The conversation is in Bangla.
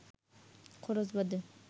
খরচ বাদে